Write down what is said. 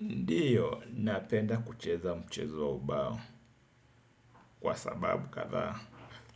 Ndiyo, napenda kucheza mchezo wa ubao kwa sababu kadha.